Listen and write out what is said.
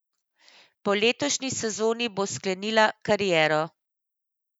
Po letošnji sezoni bo sklenila kariero.